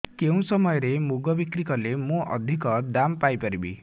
କେଉଁ ସମୟରେ ମୁଗ ବିକ୍ରି କଲେ ମୁଁ ଅଧିକ ଦାମ୍ ପାଇ ପାରିବି